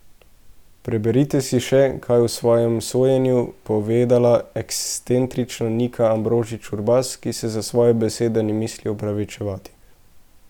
Preberite si še, kaj je o svojem sojenju povedala ekscentrična Nika Ambrožič Urbas, ki se za svoje besede ne misli opravičevati.